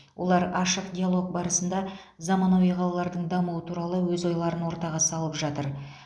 олар ашық диалог барысында замануи қалалардың дамуы туралы өз ойларын ортаға салып жатыр